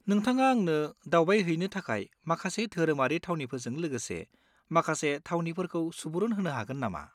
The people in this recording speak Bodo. नोंथाङा आंनो दावबायहैनो थाखाय माखासे धोरोमारि थावनिफोरजों लोगोसे माखासे थावनिफोरखौ सुबुरुन होनो हागोन नामा?